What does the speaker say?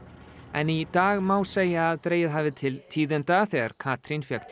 en í dag má segja að dregið hafi til tíðinda þegar Katrín fékk